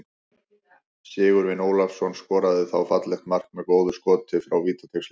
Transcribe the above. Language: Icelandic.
Sigurvin Ólafsson skoraði þá fallegt mark með góðu skoti frá vítateigslínunni.